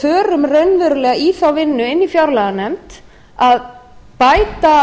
förum raunverulega í þá vinnu inni í fjárlaganefnd að bæta